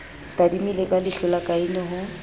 tadimile ka leihlola kaine ho